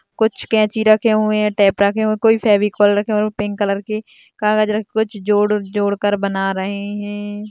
कुछ कैची रखे हुए है टेप रखे हुए कोई फेविकोल रखे हुए है पिंक कलर के कागज रखे हुए है कुछ जोड़कर जोड़कर बना रहे है।